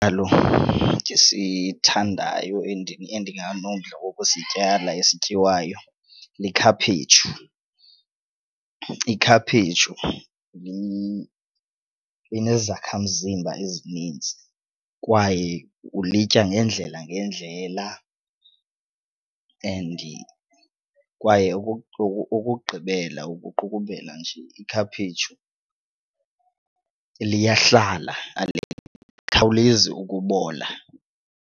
ndisithandayo endinganomdla wokusityala esityiwayo likhaphetshu. Ikhaphetshu inezakhamzimba ezininzi kwaye ulitya ngeendlela ngeendlela and kwaye ukokugqibela ukuqukumbela nje ikhaphetshu, liyahlala alikhawulezi ukubola.